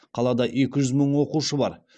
қалада екі жүз мың оқушы бар